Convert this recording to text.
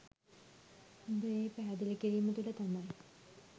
උඹ ඒ පැහැදිලි කිරීම තුල තමයි